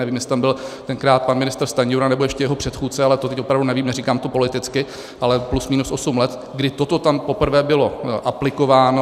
Nevím, jestli tam byl tenkrát pan ministr Stanjura nebo ještě jeho předchůdce, ale to teď opravdu nevím, říkám to politicky, ale plus minus osm let, kdy toto tam poprvé bylo aplikováno.